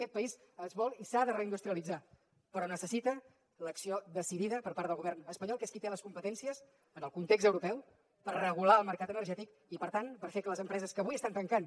aquest país es vol i s’ha de reindustrialitzar però necessita l’acció decidida per part del govern espanyol que és qui té les competències en el context europeu per regular el mercat energètic i per tant per fer que les empreses que avui estan tancant